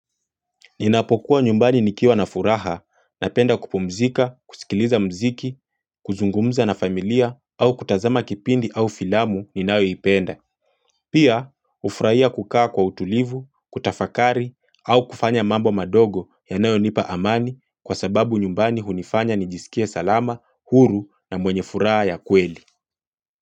Ninapokuwa nyumbani nikiwa na furaha, napenda kupumzika, kusikiliza mziki, kuzungumza na familia, au kutazama kipindi au filamu ni nayo ipenda. Pia, ufuraia kukaa kwa utulivu, kutafakari, au kufanya mambo madogo ya nao nipa amani kwa sababu nyumbani hunifanya nijisikia salama, huru na mwenye furaha ya kweli.